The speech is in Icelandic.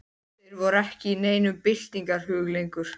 Þeir voru ekki í neinum byltingarhug lengur.